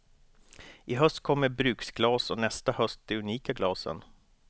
I höst kommer bruksglas och nästa höst de unika glasen.